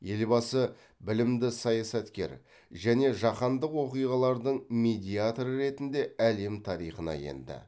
елбасы білімді саясаткер және жаһандық оқиғалардың медиаторы ретінде әлем тарихына енді